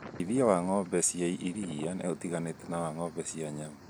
ũrĩithia wa ng'ombe cia iria nĩ ũtiganĩte na wa ng'ombe cia nyama